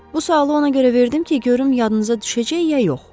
Bu sualı ona görə verdim ki, görüm yadınıza düşəcək ya yox.